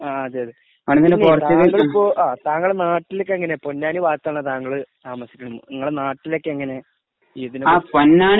ങാ .. അതെ അതെ . താങ്കളിപ്പോ താങ്കൾ നാട്ടിലൊക്കെ എങ്ങനെയാ പൊന്നാനി ഭാഗത്താണോ താങ്കള് താമസിക്കുന്നത്? നിങ്ങളുടെ നാട്ടിലൊക്കെ എങ്ങനെയാ?